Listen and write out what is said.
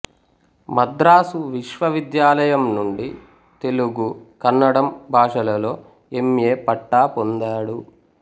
మద్రాసు విశ్వవిద్యాలయం నుండి తెలుగు కన్నడం భాషలలో ఎం ఏ పట్టా పొందాడు